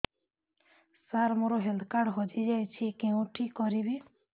ସାର ମୋର health card ହଜି ଯାଇଛି କେଉଁଠି କରିବି